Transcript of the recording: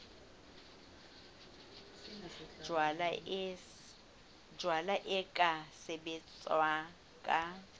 jalwa e ka sebetswa ka